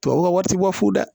Tubabuw ka wari ti bɔ fu la